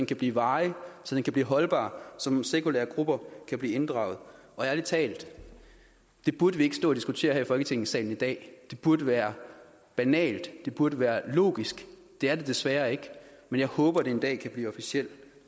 kan blive varig så den kan blive holdbar og så nogle sekulære grupper kan blive inddraget og ærlig talt det burde vi ikke stå og diskutere her i folketingssalen i dag det burde være banalt det burde være logisk det er det desværre ikke men jeg håber det en dag kan blive officiel